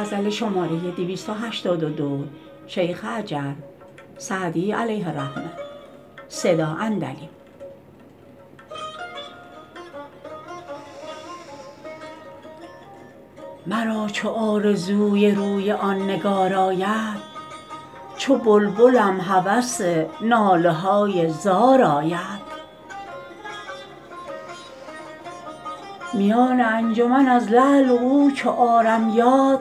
مرا چو آرزوی روی آن نگار آید چو بلبلم هوس ناله های زار آید میان انجمن از لعل او چو آرم یاد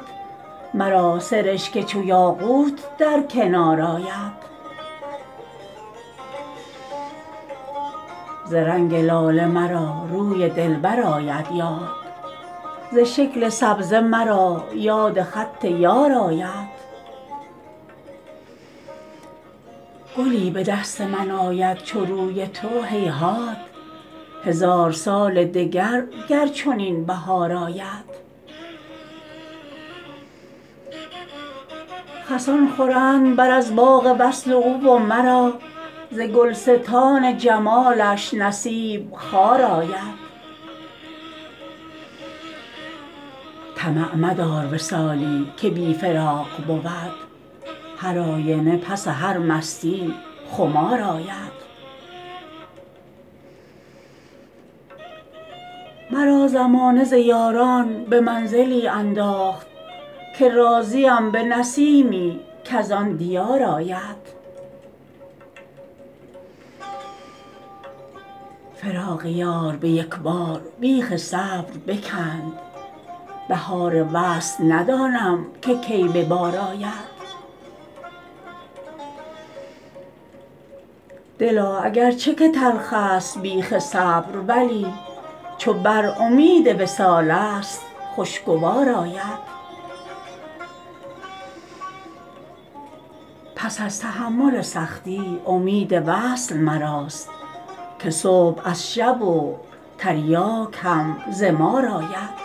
مرا سرشک چو یاقوت در کنار آید ز رنگ لاله مرا روی دلبر آید یاد ز شکل سبزه مرا یاد خط یار آید گلی به دست من آید چو روی تو هیهات هزار سال دگر گر چنین بهار آید خسان خورند بر از باغ وصل او و مرا ز گلستان جمالش نصیب خار آید طمع مدار وصالی که بی فراق بود هرآینه پس هر مستیی خمار آید مرا زمانه ز یاران به منزلی انداخت که راضیم به نسیمی کز آن دیار آید فراق یار به یک بار بیخ صبر بکند بهار وصل ندانم که کی به بار آید دلا اگر چه که تلخست بیخ صبر ولی چو بر امید وصالست خوشگوار آید پس از تحمل سختی امید وصل مراست که صبح از شب و تریاک هم ز مار آید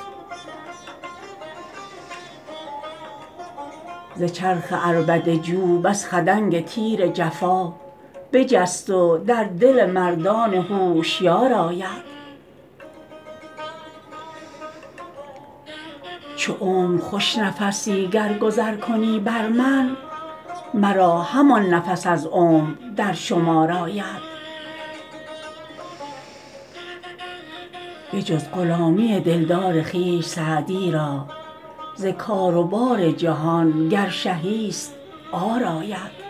ز چرخ عربده جو بس خدنگ تیر جفا بجست و در دل مردان هوشیار آید چو عمر خوش نفسی گر گذر کنی بر من مرا همان نفس از عمر در شمار آید بجز غلامی دلدار خویش سعدی را ز کار و بار جهان گر شهی ست عار آید